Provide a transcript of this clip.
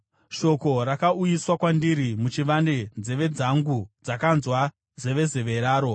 “Shoko rakauyiswa kwandiri muchivande, nzeve dzangu dzakanzwa zevezeve raro.